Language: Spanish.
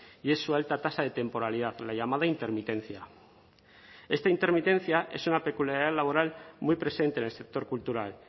y es su alta tasa de temporalidad la llamada intermitencia esta intermitencia es una peculiaridad laboral muy presente en el sector cultural